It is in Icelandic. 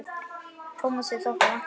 Tómasi þótti vænt um börn.